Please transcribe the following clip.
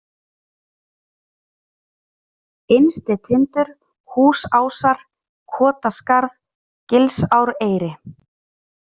Innstitindur, Húsásar, Kotaskarð, Gilsáreyri